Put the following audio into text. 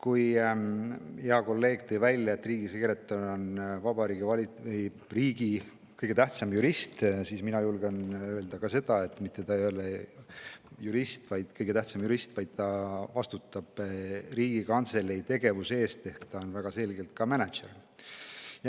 Hea kolleeg tõi välja, et riigisekretär on riigi kõige tähtsam jurist, aga mina julgen öelda seda, et ta ei ole mitte ainult kõige tähtsam jurist, vaid ta vastutab ka Riigikantselei tegevuse eest ehk ta on väga selgelt ka mänedžer.